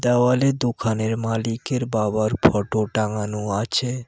দেওয়ালে দোকানের মালিকের বাবার ফোটো টাঙানো আছে।